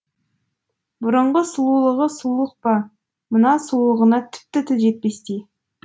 бұрынғы сұлулығы сұлулық па мына сұлулығына тіпті тіл жетпестей